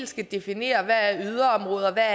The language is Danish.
skal definere hvad der er yderområder hvad